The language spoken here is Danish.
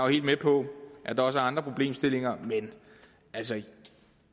helt med på at der også er andre problemstillinger men altså